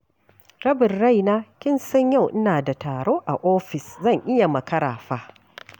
Rabin raina kin san yau ina da taro a ofis, zan iya makara fa.